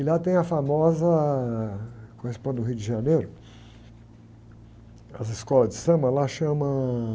E lá tem a famosa, que corresponde ao Rio de Janeiro, às escolas de samba, lá chamam...